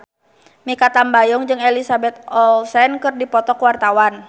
Mikha Tambayong jeung Elizabeth Olsen keur dipoto ku wartawan